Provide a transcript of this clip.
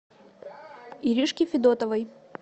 иришке федотовой